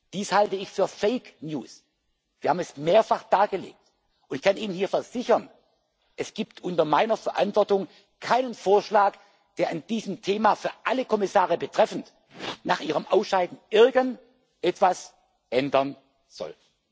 Dies halte ich für Fake News Wir haben es mehrfach dargelegt, und ich kann Ihnen hier versichern Es gibt unter meiner Verantwortung keinen Vorschlag, der an diesem Thema bezüglich aller Kommissare nach ihrem Ausscheiden irgendetwas ändern soll.